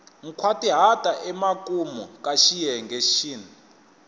nkhwatihata emakumu ka xiyenge xin